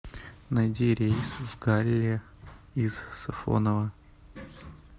найди рейс в галле из сафоново